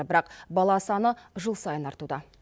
бірақ бала саны жыл сайын артуда